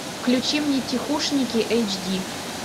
включи мне тихушники эйч ди